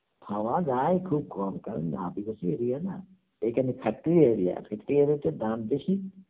পাওয়াযায় খুব কম কারণ area না, এই খানে থাকতে হলে দাম বেশি